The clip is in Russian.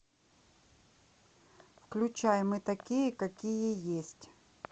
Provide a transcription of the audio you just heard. включай мы такие какие есть